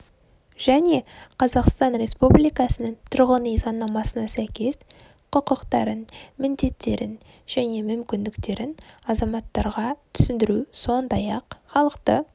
және қазақстан республикасының тұрғын үй заңнамасына сәйкес құқықтарын міндеттерін және мүмкіндіктерін азаматтарға түсіндіру сондай-ақ халықты